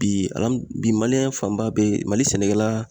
Bi bi maliyɛn fanba bɛ Mali sɛnɛkɛla